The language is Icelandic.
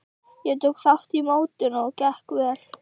Ég tók þátt í mótum og gekk vel.